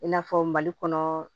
I n'a fɔ mali kɔnɔ